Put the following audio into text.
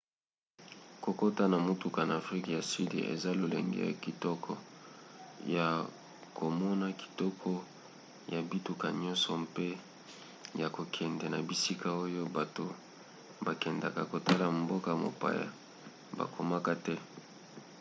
kokota na motuka na afrika ya sud eza lolenge ya kitoko ya komona kitoko ya bituka nyonso mpe ya kokende na bisika oyo bato bakendaka kotala mboka-mopaya bakomaka te